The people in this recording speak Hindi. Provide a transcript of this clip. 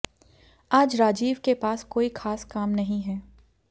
आज राजीव के पास कोई ख़ास काम नहीं है